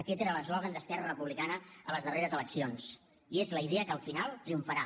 aquest era l’eslògan d’esquerra republicana a les darreres eleccions i és la idea que al final triomfarà